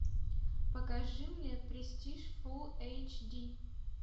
покажи мне престиж фулл эйч ди